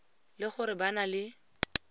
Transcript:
le gore ba na le